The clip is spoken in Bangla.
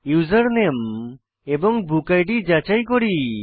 ইউজারনেম এবং বুক ইদ যাচাই করি